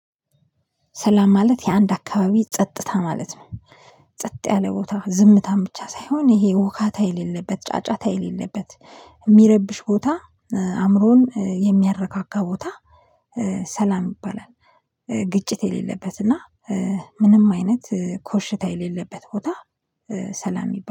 ሰላም ማለት የአንድ አካባቢ ጸጥታ ማለት ነው። ጸጥ ያለ ቦታ ዝምታን ብቻ ሳይሆን ይሄ ወካታ የሌለበት ጫጫታ የሌለበት የሚረብሽ ቦታ አእምሮን የሚያረካካ ቦታ ሰላም ይባላል። ግጭት የሌለበት እና ምንም አይነት ኮሽታ የሌለበት ቦታ። ሰላም ይባላል